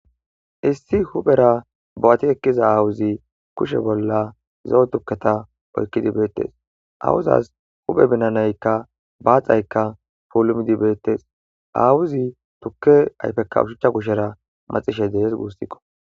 Issi huphera bo'ati ekkiza aawuzi kushe bolla zo'o tukketa oykkidi beettes awuzas huphe binanaykka baaxaykka pulumdi beettes aawuzi tukke ayfekka ushuchcha kushera maxishey dehes guussikko.